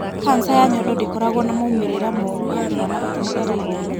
kanca ya nyondo ndĩkoragwo na moimĩrĩra moru harĩ mwana ũtaciarĩtwo.